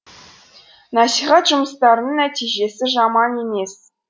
насихат жұмыстарының нәтижесі жаман емес